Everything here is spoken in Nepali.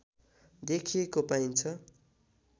देखिएको पाइन्छ